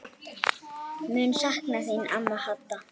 Mun sakna þín amma Hadda.